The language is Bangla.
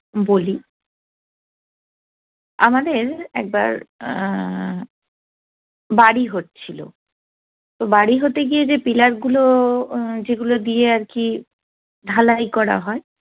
বলি আমাদের একবার বাড়ি হচ্ছিল তো বাড়ি হতে গিয়েছে pillar গুলো যেগুলো দিয়ে আরকি ঢালাই করা হয়